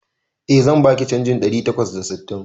Eh, zan baki canjin ɗari takwas da sittin